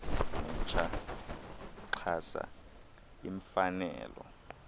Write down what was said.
mtsha uxhasa iimfanelo